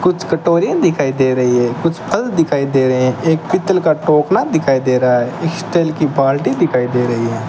कुछ कटोरी दिखाई दे रही है कुछ फल दिखाई दे रहे हैं एक पीतल का टोकना दिखाई दे रहा है स्टील की बाल्टी दिखाई दे रही है।